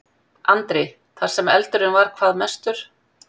Andri: Þar sem eldurinn var hvað mestur?